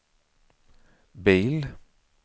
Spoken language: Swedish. bil